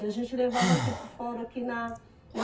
E a gente levava aqui para o fórum, aqui na na